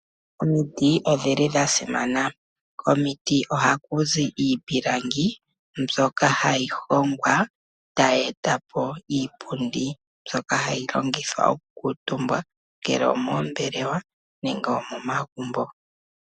Omiti odhili dha simana. Komiti ohaku zi iipilangi mbyoka hayi hongwa tayi eta po iipundi mbyoka hayi longithwa okukuutumbwa ,ngele omoombelewa nenge omomagumbo.